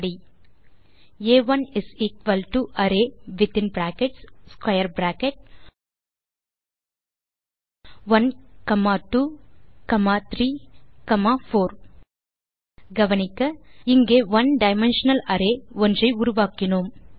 இப்படி ஆ1 அரே வித்தின் brackets square bracket 1 comma 2 comma 3 comma 4 கவனிக்க இங்கே ஒனே டைமென்ஷனல் அரே ஒன்றை உருவாக்கினோம்